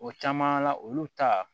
O caman na olu ta